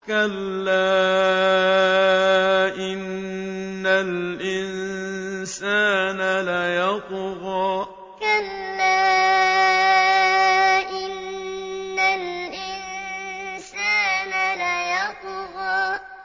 كَلَّا إِنَّ الْإِنسَانَ لَيَطْغَىٰ كَلَّا إِنَّ الْإِنسَانَ لَيَطْغَىٰ